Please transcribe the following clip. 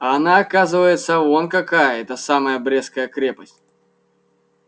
а она оказывается вон какая эта самая брестская крепость